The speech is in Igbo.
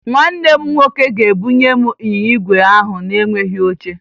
Nwanne m nwoke ga-ebunye m ịnyịnya igwe ahụ na-enweghi oche